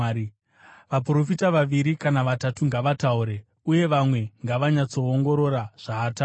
Vaprofita vaviri kana vatatu ngavataure uye vamwe ngavanyatsoongorora zvaataura.